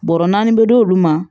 Bɔrɔ naani bɛ d'olu ma